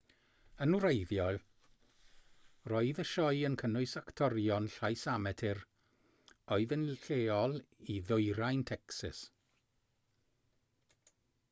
yn wreiddiol roedd y sioe yn cynnwys actorion llais amatur oedd yn lleol i ddwyrain tecsas